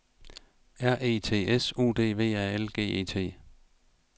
R E T S U D V A L G E T